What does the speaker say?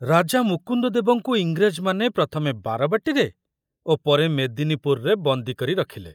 ରାଜା ମୁକୁନ୍ଦଦେବଙ୍କୁ ଇଂରେଜମାନେ ପ୍ରଥମେ ବାରବାଟୀରେ ଓ ପରେ ମେଦିନୀପୁରରେ ବନ୍ଦୀ କରି ରଖୁଲେ।